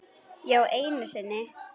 Já, einu sinni.